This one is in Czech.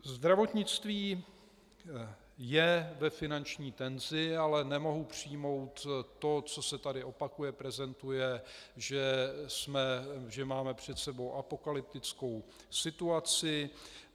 Zdravotnictví je ve finanční tenzi, ale nemohu přijmout to, co se tady opakuje, prezentuje, že máme před sebou apokalyptickou situaci.